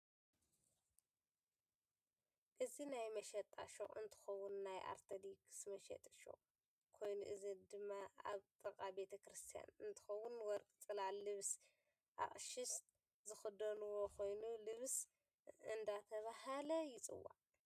እዚ ናይ መሸጣ ሽቁ እንትከውን ናይ ኣርተደክስ መሸጢ ሽቅ ኮይኑ እዚ ድማ ኣብ ጥቃ ቤተ ክርስትያን እንትከውን ወርቅ ፅላል፣ ልብስ ኣቅሽት ዝክደንዎ ኮይኑ ልብስ እደተበሃል ይፅዋ።